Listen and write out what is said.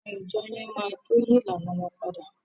Àwọn ìjọọ̀ yẹn máa tó yí ìlànàa wọn padà.